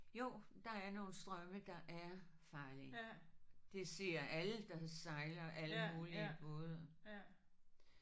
Jo der er nogle strømme der er farlige. Det siger alle der sejler alle mulige både